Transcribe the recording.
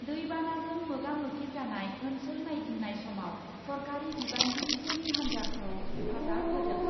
दै बानाजों मोगा मोगि जानाय ओन्सोल नायगिदिंनाय समाव सरकारि बिबानगिरिफोरनि हान्जाखौ हेफाजाब होदों।